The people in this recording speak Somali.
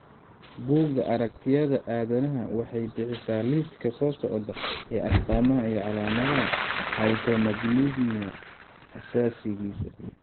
Buugga Aragtiyaha Aadanaha waxay bixisaa liiska soo socda ee astamaha iyo calaamadaha Hypomagnesemia aasaasiga ah.